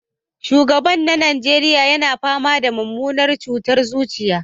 Shugaban na Najeriya na fama da mummunar cutar zuciya